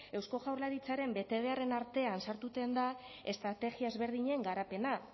eusko jaurlaritzaren betebeharren artean sartuten da estrategia ezberdinen garapena